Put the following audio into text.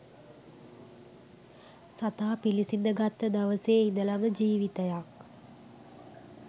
සතා පිළිසිඳ ගත්ත දවසේ ඉඳලම ජිවිතයක්.